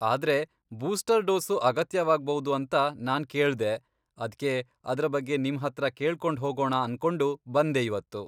ಆದ್ರೆ booster dose ಅಗತ್ಯವಾಗ್ಬೌದು ಅಂತಾ ನಾನ್ ಕೇಳ್ದೆ, ಅದ್ಕೆ ಅದ್ರ ಬಗ್ಗೆ ನಿಮ್ಹತ್ರ ಕೇಳ್ಕೊಂಡ್ಹೋಗಣ ಅನ್ಕೊಂಡು ಬಂದೆ ಇವತ್ತು.